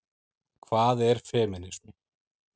Hvað er femínismi?